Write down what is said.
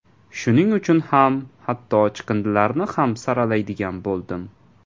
Shuning uchun hatto chiqindilarni ham saralaydigan bo‘ldim.